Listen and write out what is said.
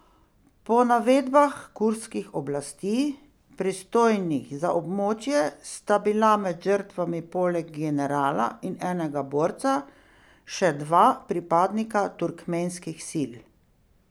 Po navedbah kurdskih oblasti, pristojnih za območje, sta bila med žrtvami poleg generala in enega borca še dva pripadnika turkmenskih sil.